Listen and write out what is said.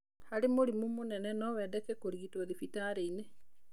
Harĩ mũrimũ mũnene no wendeke kũrigito thibitari-inĩ.